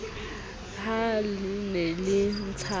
ha le ne le ntshana